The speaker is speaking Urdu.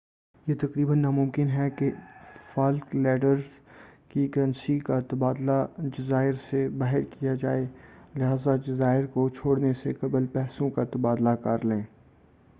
یہ تقریباً نامُمکن ہے کہ فالک لینڈز کی کرنسی کا تبادلہ جزائر سے باہر کیا جائے لہٰذا جزائر کو چھوڑنے سے قبل پیسوں کا تبادلہ کرلیں